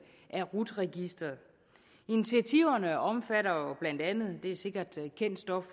af rut registeret initiativerne omfatter jo blandt andet og det er sikkert kendt stof